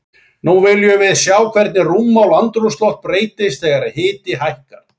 Nú viljum við sjá hvernig rúmmál andrúmsloft breytist þegar hiti hækkar.